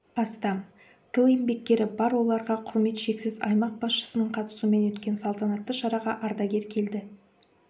астам тыл еңбеккері бар оларға құрмет шексіз аймақ басшысының қатысуымен өткен салтанатты шараға ардагер келді